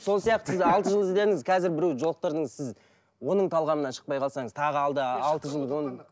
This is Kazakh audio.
сол сияқты сіз алты жыл іздедіңіз қазір біреуді жолықтырдыңыз сіз оның талғамынан шықпай қалсаңыз тағы алда алты жыл оның